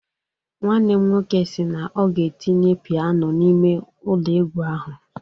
Nwanne m nwoke si na ọ ga-etinye piano n'ime ụlọ egwu ahụ